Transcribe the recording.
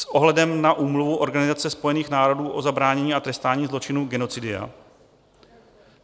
- s ohledem na Úmluvu Organizace spojených národů o zabránění a trestání zločinu genocidia;